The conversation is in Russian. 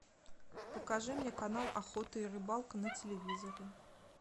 покажи мне канал охота и рыбалка на телевизоре